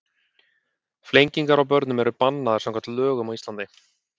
Flengingar á börnum eru bannaðar samkvæmt lögum á Íslandi.